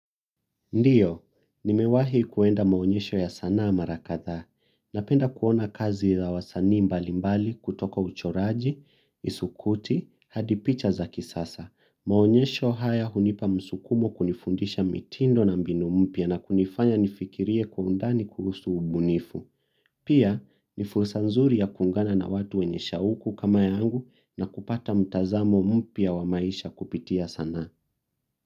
Ndio, nimewahi kuenda maonyesho ya sanaa mara kadhaa. Napenda kuona kazi ya wasanii mbalimbali kutoka uchoraji, isukuti, hadi picha za kisasa. Maonyesho haya hunipa msukumo kunifundisha mitindo na mbinu mpia na kunifanya nifikirie kwa undani kuusu ubunifu. Pia, nifursa nzuri ya kuungana na watu wenye shauku kama yangu na kupata mtazamo mpya wa maisha kupitia sana.